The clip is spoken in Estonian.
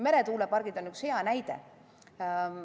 Meretuulepargid on üks hea näide.